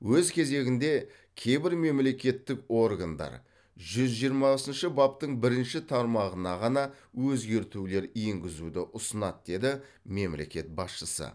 өз кезегінде кейбір мемлекеттік органдар жүз жиырмасыншы баптың бірінші тармағына ғана өзгертулер енгізуді ұсынады деді мемлекет басшысы